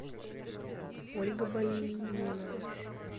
ольга боименова